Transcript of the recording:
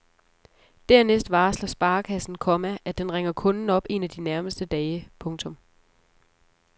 Dernæst varsler sparekassen, komma at den ringer kunden op en af de nærmeste dage. punktum